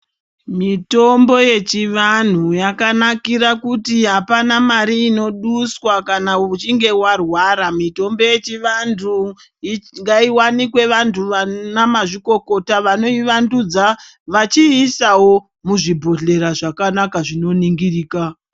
Mitombo yechivanhu yakanakira kuti hapana mari inoduswa kana uchinge warwara. Mitombo yechivantu ngaiwanikwe vantu vana mazvikokota vachiiisawo muzvibhodhleya zvakanaka zvinoningirika.